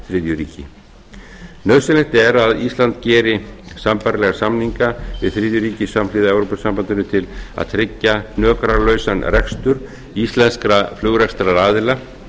þriðja ríki nauðsynlegt er að ísland geri sambærilega samninga við þriðju ríki samhliða evrópusambandinu til að tryggja hnökralausan rekstur íslenskra flugrekstraraðila